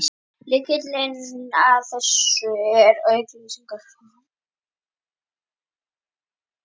Lykillinn að þessu er að auk snilligáfunnar er hann gífurlega vinnusamur.